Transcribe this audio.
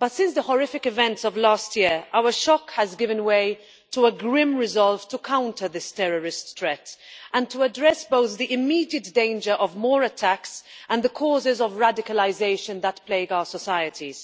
But since the horrific events of last year, our shock has given way to a grim resolve to counter this terrorist threat and to address both the immediate danger of more attacks and the causes of radicalisation that plague our societies.